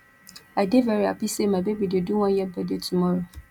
i dey very hapi sey my baby dey do one year birthday tomorrow